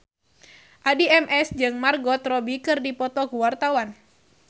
Addie MS jeung Margot Robbie keur dipoto ku wartawan